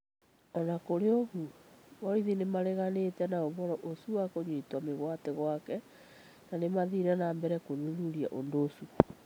O na kũrĩ ũguo, borithi nĩ mareganite na ũhoro ũcio wa kunyito migwate gwake na ni mathiire na mbere gũthuthuria ũndũ ũcio.